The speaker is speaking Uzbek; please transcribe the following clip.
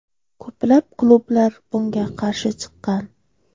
Ko‘plab klublar bunga qarshi chiqqan.